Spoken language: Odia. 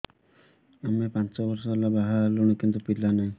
ଆମେ ପାଞ୍ଚ ବର୍ଷ ହେଲା ବାହା ହେଲୁଣି କିନ୍ତୁ ପିଲା ନାହିଁ